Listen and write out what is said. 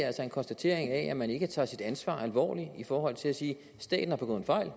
altså en konstatering af at man ikke tager sit ansvar alvorligt i forhold til sige staten har begået en fejl